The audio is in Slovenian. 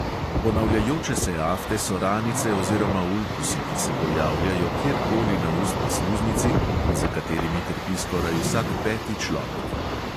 Ponavljajoče se afte so ranice oziroma ulkusi, ki se pojavljajo kjerkoli na ustni sluznici in za katerimi trpi skoraj vsak peti človek.